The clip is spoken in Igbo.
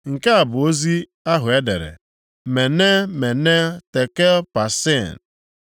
“Nke a bụ ozi ahụ e dere: mene, mene, tekel, parsin